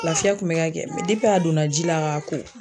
Lafiya kun bɛ ka kɛ a donna ji la k'a ko